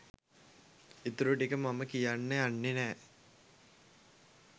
ඉතුරුටික මම කියන්න යන්නේ නෑ.